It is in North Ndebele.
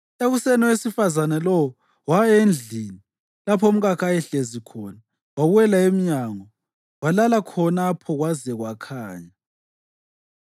Ekuseni owesifazane lowo waya endlini lapho umkakhe ayehlezi khona, wawela emnyango, walala khonapho kwaze kwakhanya.